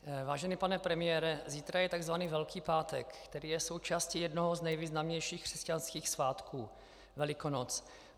Vážený pane premiére, zítra je tzv. Velký pátek, který je součástí jednoho z nejvýznamnějších křesťanských svátků - Velikonoc.